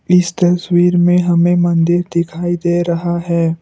इस तस्वीर में हमें मंदिर दिखाई दे रहा है।